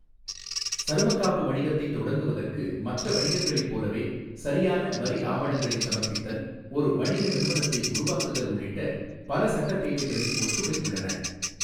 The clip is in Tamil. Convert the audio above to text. சருமக் காப்பு வணிகத்தைத் தொடங்குவதற்கு மற்ற வணிகங்களைப் போலவே சரியான வரி ஆவணங்களைச் சமர்ப்பித்தல், ஒரு வணிக நிறுவனத்தை உருவாக்குதல் உள்ளிட்ட பல சட்டத் தேவைகளில் ஒற்றுமை உள்ளன.